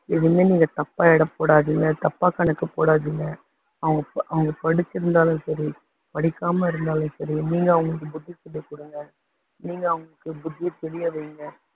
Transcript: எதுவுமே நீங்க தப்பா எடை போடாதீங்க தப்பா எடை போடாதீங்க தப்பா கணக்கு போடாதீங்க அவங்க அவங்க படிச்சிருந்தாலும் சரி படிக்காம இருந்தாலும் சரி நீங்க அவங்களுக்கு புத்தி சொல்லி கொடுங்க, நீங்க அவங்களுக்கு புத்தி சொல்லி அதை நீங்க